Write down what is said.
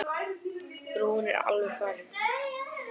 Brúin er alveg farin.